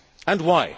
And why?